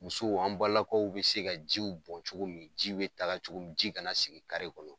Musow an balakaw be se ka jiw bɔn cogo min ji be taga cogo mi, ji kana sigi kare kɔnɔ.